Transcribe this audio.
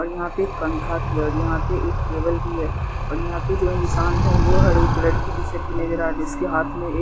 और यहां पे एक पंखा भी है और यहां पे एक टेबल भी है और यहां पे जो इंसान है वो हरे कलर की टी-शर्ट भी नजर आ रही उसके हाथ में एक --